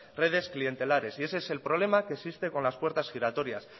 redes clientelares y ese es el problema que existe con las puertas giratorias